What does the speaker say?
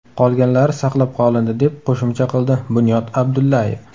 Qolganlari saqlab qolindi”, deb qo‘shimcha qildi Bunyod Abdullayev.